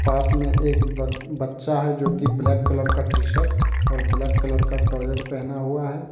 पास में एक ब बच्चा है जोकि ब्लैक कलर का टी शर्ट और ब्लैक कलर का ट्राउज़र पहना हुआ है।